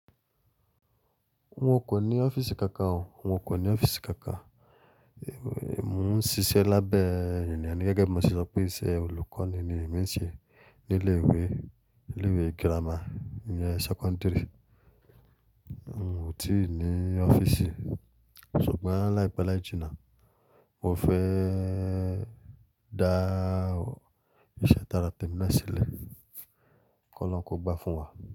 N o ko ni ọ́fíìsì kankan o, n o ko ni ọ́fíìsì kankan. Mo ń ṣiṣẹ́ lábẹ́ ènìyàn ni gẹ́gẹ́ bí mo ti sọ pé iṣẹ́ olùkọ́ni ni mi ń ṣe ní ilé ìwé, ilé ìwé girama, ń jẹ́ sẹ́kọ́ńdírì. N o ti ní ọ́fíìsì ṣùgbọ́n láìpẹ́ láì jína mo fẹ́ dá ìṣe tara tèmi náà sílẹ̀ kí ọlọ́run n kó gba fún wa.